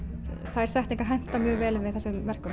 þær setningar henta mjög vel með þessum verkum